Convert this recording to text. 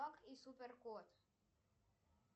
баг и супер кот